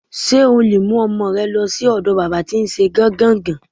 S̩e o lè mú o̩mo̩ re̩ lo̩ sí ò̩do̩ bábà tí n s̩e gán-gàn-gán.